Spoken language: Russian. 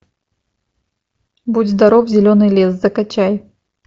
будь здоров зеленый лес закачай